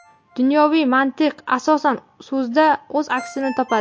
Dunyoviy mantiq asosan… so‘zda o‘z aksini topadi.